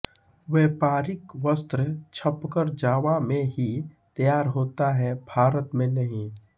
व्यापारिक वस्त्र छपकर जावा में ही तैयार होता है भारत में नहीं